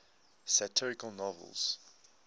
satirical novels